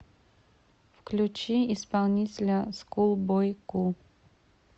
включи исполнителя скул бой ку